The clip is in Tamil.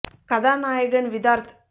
கதாநாயகன் விதார்த்